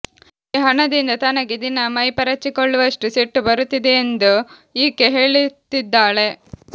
ಈ ಹಣದಿಂದ ತನಗೆ ದಿನಾ ಮೈ ಪರಚಿಕೊಳ್ಳುವಷ್ಟು ಸಿಟ್ಟು ಬರುತ್ತಿದೆಯೆಂದು ಈಕೆ ಹೇಳುತ್ತಿದ್ದಾಳೆ